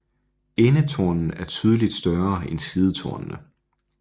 Endetornen er tydeligt større end sidetornene